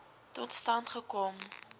tot stand gekom